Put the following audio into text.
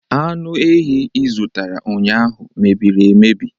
Anụ ehi ị zụtara ụnyahụ mebiri emebi